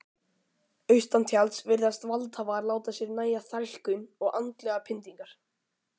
Austantjalds virðast valdhafar láta sér nægja þrælkun og andlegar pyndingar.